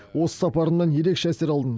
осы сапарымнан ерекше әсер алдым